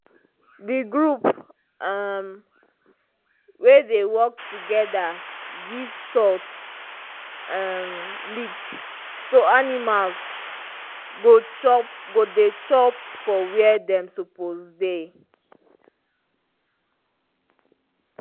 the group um wey dey work togeda give salt um lick so animals go dey chop for where dem suppose dey